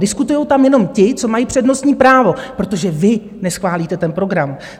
Diskutují tam jenom ti, co mají přednostní právo, protože vy neschválíte ten program.